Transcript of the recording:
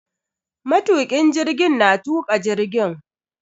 Matukin jirgin na tuka jirgin.